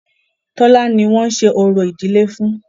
Tọ́lá ni wọ́n ń ṣe orò ìdílé fún.